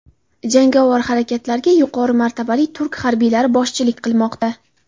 Jangovar harakatlarga yuqori martabali turk harbiylari boshchilik qilmoqda.